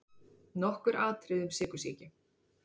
Nokkur atriði um sykursýki.